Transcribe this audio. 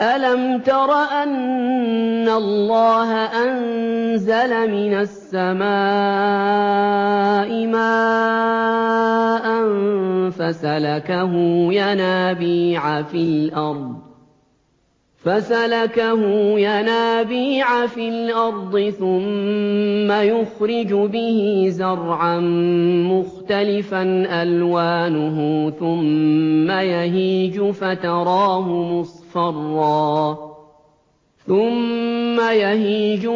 أَلَمْ تَرَ أَنَّ اللَّهَ أَنزَلَ مِنَ السَّمَاءِ مَاءً فَسَلَكَهُ يَنَابِيعَ فِي الْأَرْضِ ثُمَّ يُخْرِجُ بِهِ زَرْعًا مُّخْتَلِفًا أَلْوَانُهُ ثُمَّ يَهِيجُ